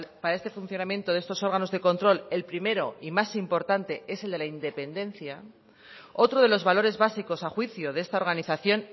para este funcionamiento de estos órganos de control el primero y más importante es el de la independencia otro de los valores básicos a juicio de esta organización